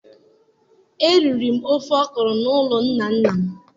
ariri m ofe okro n'ulo nna nna m.